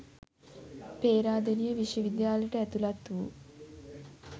පේරාදෙණිය විශ්වවිද්‍යාලයට ඇතුළත් වූ